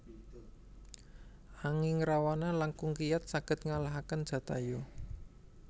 Anging Rawana langkung kiyat saged ngalahaken Jatayu